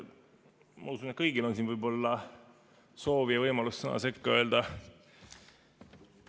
Ma usun, et kõigil võib siin olla soov ja võimalus sõna sekka öelda.